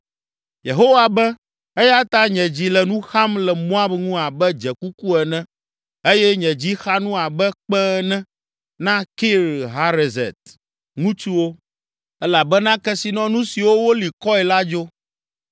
Yehowa be, “Eya ta nye dzi le nu xam le Moab ŋu abe dzekuku ene, eye nye dzi xa nu abe kpẽ ene na Kir Hareset ŋutsuwo, elabena kesinɔnu siwo woli kɔe la dzo.